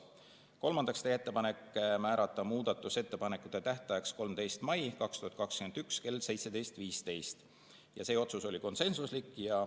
Kolmandaks, teha ettepanek määrata muudatusettepanekute tähtajaks 13. mai 2021 kell 17.15, see otsus oli konsensuslik.